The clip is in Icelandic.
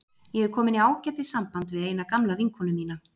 Ég er komin í ágætis samband við eina gamla vinkonu mína.